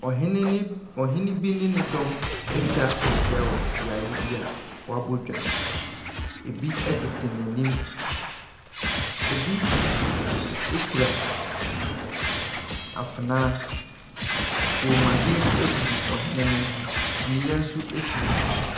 Ɔhene ne, ɔhene bi ne ne dɔm atwahyia wɔ beaeɛ bia wɔabɔ dwa. Ebi ɛtete n'anim, ebi kura afenaa. Kɔnmuadeɛ gugu ɔhene ne ho, kyiniiɛ si ne so.